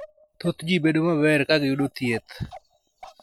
Thoth ji bedo maber ka giyudo thieth.